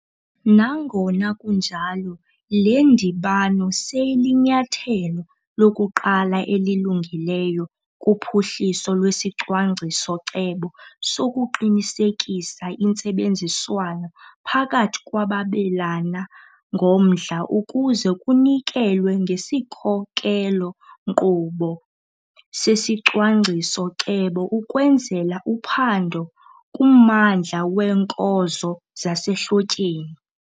Nangona kunjalo, le ndibano seyilinyathelo lokuqala elilungileyo kuphuhliso lwesicwangciso-cebo sokuqinisekisa intsebenziswano phakathi kwababelana ngomdla ukuze kunikelwe ngesikhokelo-nkqubo sesicwangciso-cebo ukwenzela uphando kummandla weenkozo zasehlotyeni.